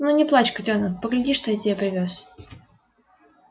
ну не плачь котёнок погляди что я тебе привёз